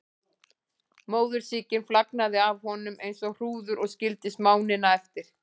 Móðursýkin flagnaði af honum eins og hrúður og skildi smánina eftir.